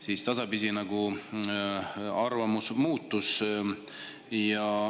Siis arvamus tasapisi muutus.